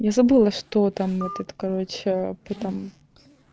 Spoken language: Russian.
я забыла что там вот этот короче потом